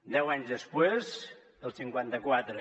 deu anys després el cinquanta quatre